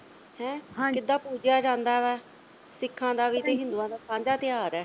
ਹੈਂ ਕਿੱਦਾਂ ਪੂਜਿਆ ਜਾਂਦਾ ਹੈ ਹੈਂ ਸਿੱਖਾਂ ਦਾ ਵੀ ਤੇ ਹਿੰਦੂਆਂ ਦਾ ਸਾਂਝਾ ਤਿਉਹਾਰ ਆ।